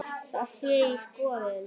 Það sé í skoðun.